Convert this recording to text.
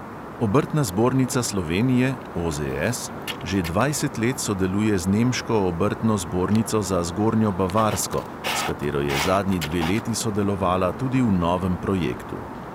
Obrtna zbornica slovenije že dvajset let sodeluje z nemško obrtno zbornico za zgornjo bavarsko, s katero je zadnji dve leti sodelovala tudi v novem projektu.